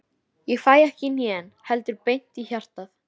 Ég fæ ekki í hnén, heldur beint í hjartað.